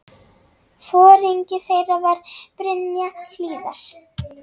Foringi þeirra var Brynja Hlíðar.